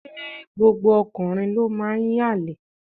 Ṣé gbogbo ọkùnrin ló máa ń yànlè.?